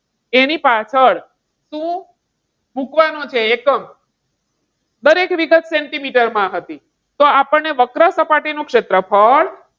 એની પાછળ શું મૂકવાનું છે એકમ? દરેક વિગત સેન્ટીમીટરમાં હતી. તો આપણને વક્ર સપાટી નું ક્ષેત્રફળ.